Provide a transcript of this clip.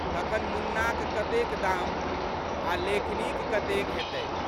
तखन मुन्नाक कते दाम आ लेखनीक कते हेतै।